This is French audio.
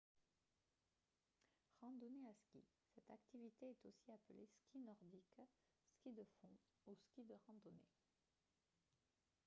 randonnée à skis cette activité est aussi appelée ski nordique ski de fond ou ski de randonnée